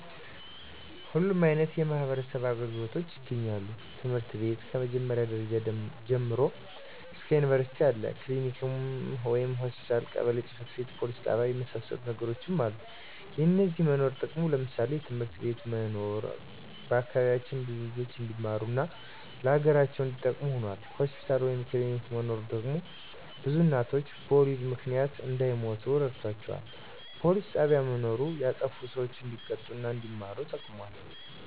ሁሉም አይነት የማህበረሰብ አገልግሎቶች ይገኛሉ ትምህርት ቤት ከ መጀመሪያ ደረጃ ጀምሮ እስከ ዩኒቨርስቲ አለ፣ ክሊኒክ ወይም ሆስፒታል፣ ቀበሌ ጽ/ቤት፣ ፖሊስ ጣቢያ የመሳሰሉት ነገሮች አሉ። የነዚህ መኖርም ጥቅሙ ለምሳሌ፦ የትምህርት ቤት መኖር በአካባቢያችን ብዙ ልጆች እንዲማሩ እና ለሀገራቸው እንዲጠቅሙ ሁኗል። ሆስፒታል ወይም ክሊኒክ መኖሩ ደግሞ ብዙ እናቶች በወሊድ ምክንያት እንዳይሞቱ ረድቷቸዋል። ፖሊስ ጣቢያ መኖሩ ያጠፉ ሰዎች እንዲቀጡ እና አንዲማሩ ተጠቅሟል።